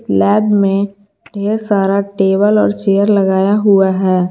Lab में बहुत ढेर सारा टेबल और चेयर लगाया हुआ है।